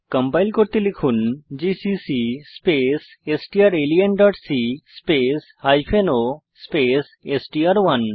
compile করতে লিখুন GCC space strlenসি স্পেস o স্পেস এসটিআর1